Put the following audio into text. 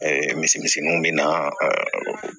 misemiseinw bɛ na